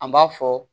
An b'a fɔ